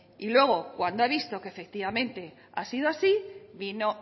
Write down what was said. y luego cuando ha visto que efectivamente ha sido así vino